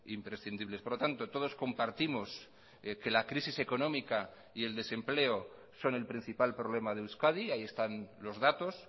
imprescindibles por lo tanto todos compartimos que la crisis económica y el desempleo son el principal problema de euskadi ahí están los datos